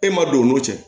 E ma don o n'o cɛ